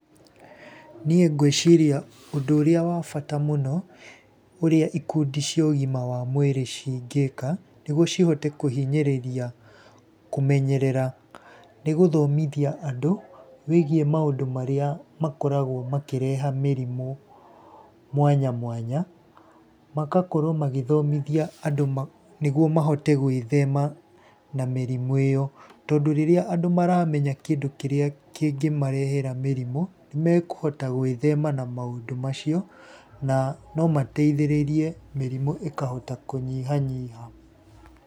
Niĩ ngwĩciria ũndũ ũrĩa wa bata mũno, ũrĩa ikundi cia ũgima wa mwĩrĩ cingĩka nĩguo cihote kũhinyĩrĩria kũmenyerera, nĩ gũthomithia andũ wĩgiĩ maũndũ marĩa makoragwo makĩreha mĩrimũ mwanya mwanya, magakorwo magĩthomithia angũ, nĩguo mahote gwĩthema na mĩrimu ĩyo. Tondũ rĩrĩa andũ maramenya kĩndũ kĩrĩa kĩngĩmarehera mĩrimu, nĩ mekũhota gwĩthema na maũndũ macio na no mateithĩrĩrie mĩrimũ ĩkahota kũnyihanyiha.